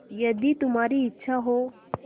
यदि तुम्हारी इच्छा हो